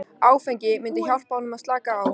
Áfengið myndi hjálpa honum að slaka á.